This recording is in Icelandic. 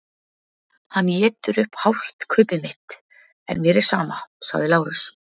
Hann étur upp hálft kaupið mitt en mér er sama, sagði Lárus.